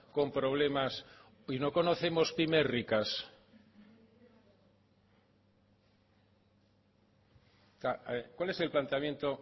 con problemas y no conocemos pymes ricas cuál es el planteamiento